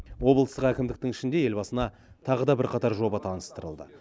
облыстық әкімдіктің ішінде елбасына тағы да бірқатар жоба таныстырылды